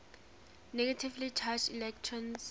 negatively charged electrons